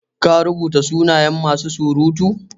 Ka rubuta sunayen masu surutu?